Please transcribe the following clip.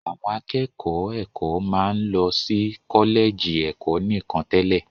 Àwọn akẹ́kọ̀ọ́ ẹ̀kọ́ máa ń lọ sí kọ́lẹ̀jì ẹ̀kọ́ nìkan tẹ́lẹ̀